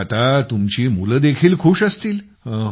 तर मग आता मुले देखील खूष असतील